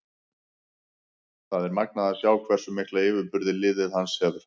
Það er magnað að sjá hversu mikla yfirburði liðið hans hefur.